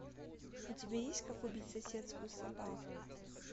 у тебя есть как убить соседскую собаку